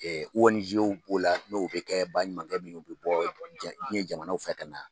Ɛ ONG b'o la n'o bɛ kɛ baɲumankɛ minnu bɛ bɔ diɲɛ jamana fɛ ka na